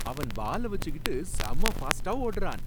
அவன் பால வச்சுக்கிட்டு செம ஃபாஸ்ட்டா ஓடுறான்!